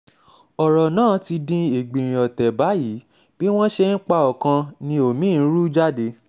ọ̀rọ̀ náà ti di ẹgbinrin ọ̀tẹ̀ báyìí bí wọ́n ṣe ń pa ọkàn ni omi-ín ń rú jáde